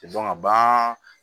bagan